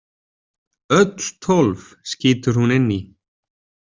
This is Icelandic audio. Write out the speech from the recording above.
Öll tólf, skýtur hún inn í.